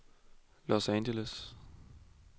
Los Angeles